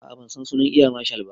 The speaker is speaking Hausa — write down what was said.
A'a bansan sunan eya marshal ba